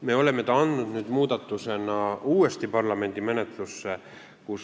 Me oleme ta andnud nüüd koos muudatusega uuesti parlamendi menetlusse.